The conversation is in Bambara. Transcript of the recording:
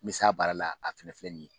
N bɛ se a baara la a fana filɛ nin ye